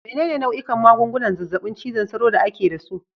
Menene nau'ikan magungunan zazzabin cizon sauro da ake da su?